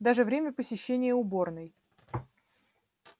даже время посещения уборной